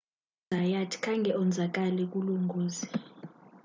uzayat khange onzakale kulo ngozi